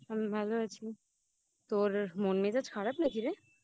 আমি ভালো আছি তোর মন মেজাজ খারাপ নাকি রে